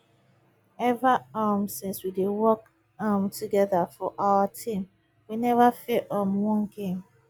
ever um since we dey work um together for our team we never fail um one game